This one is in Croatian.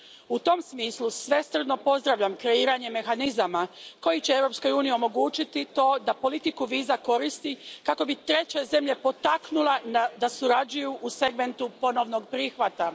U tom smislu svesrdno pozdravljam kreiranje mehanizama koji će Europskoj uniji omogućiti to da politiku viza koristi kako bi treće zemlje potaknula da surađuju u segmentu ponovnog prihvata.